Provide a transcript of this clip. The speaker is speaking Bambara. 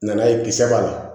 Na ye kisɛ b'a la